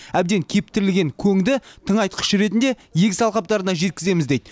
әбден кептірілген көңді тыңайтқыш ретінде егіс алқаптарына жеткіземіз дейді